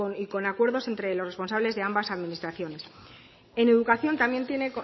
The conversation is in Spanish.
y con acuerdos entre los responsables de ambas administraciones en educación también se